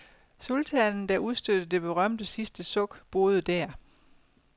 Sultanen, der udstødte det berømte sidste suk, boede der.